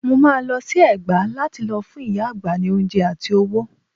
Mo máa lọ sí Ẹ̀gbá lá ti lọ fún ìyá àgbà ní oúnjẹ àti owó.